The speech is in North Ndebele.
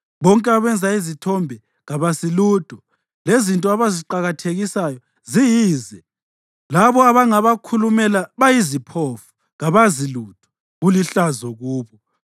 Bonke abenza izithombe kabasilutho, lezinto abaziqakathekisayo ziyize. Labo abangabakhulumela bayiziphofu, kabazi lutho, kulihlazo kubo.